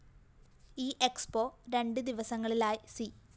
E expo രണ്ട് ദിവസങ്ങളിലായി C